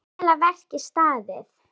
Vel að verki staðið.